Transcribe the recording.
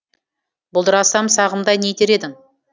бұлдырасам сағымдай не етер едің